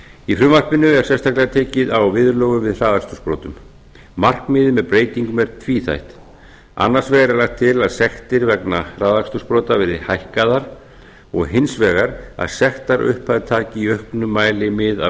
í frumvarpinu er sérstaklega tekið á viðurlögum við hraðakstursbrotum markmiðið með breytingum er tvíþætt annars vegar er lagt til að sektir vegna hraðakstursbrota verði hækkaðar og hins vegar að sektarupphæð taki í auknum mæli mið af